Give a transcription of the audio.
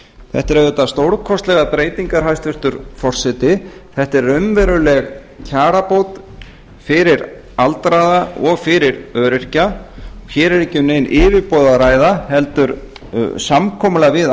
þetta eru auðvitað stórkostlegar breytingar hæstvirtur forseti þetta er raunveruleg kjarabót fyrir aldraða og fyrir öryrkja hér er ekki um nein yfirboð að ræða heldur samkomulag við